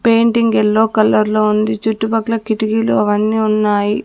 Painting yellow కలర్లో ఉంది చుట్టుపక్కల కిటికీలు అవన్నీ ఉన్నాయి.